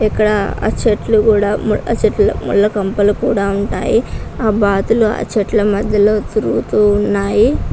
ఇక్కడ చెట్లు కూడా చెట్లు ముళ్ళ కంపలు ఉన్నాయి. ఆ బాతులు చెట్లు మధ్యలో తిరుగుతూ ఉన్నాయి.